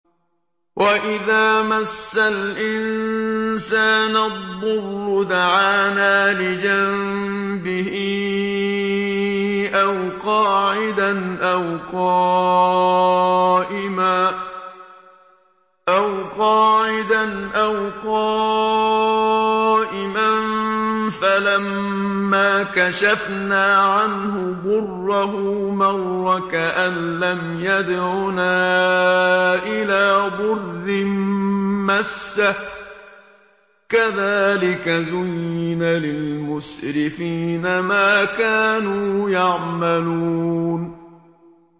وَإِذَا مَسَّ الْإِنسَانَ الضُّرُّ دَعَانَا لِجَنبِهِ أَوْ قَاعِدًا أَوْ قَائِمًا فَلَمَّا كَشَفْنَا عَنْهُ ضُرَّهُ مَرَّ كَأَن لَّمْ يَدْعُنَا إِلَىٰ ضُرٍّ مَّسَّهُ ۚ كَذَٰلِكَ زُيِّنَ لِلْمُسْرِفِينَ مَا كَانُوا يَعْمَلُونَ